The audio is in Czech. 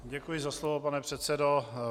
Děkuji za slovo, pane předsedo.